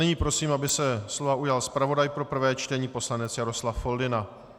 Nyní prosím, aby se slova ujal zpravodaj pro prvé čtení poslanec Jaroslav Foldyna.